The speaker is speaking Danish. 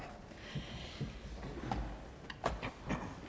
da